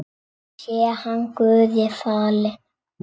Sé hann Guði falinn.